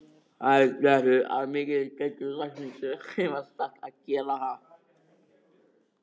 Þær klöppuðu þó af mikilli skyldurækni þegar þeim var sagt að gera það.